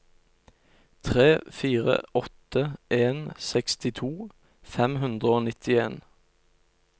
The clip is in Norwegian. tre fire åtte en sekstito fem hundre og nittien